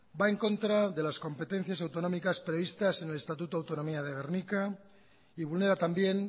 va en contra de las competencias autonómicas previstas en el estatuto autonomía de gernika y vulnera también